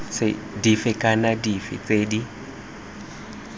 dife kana dife tse di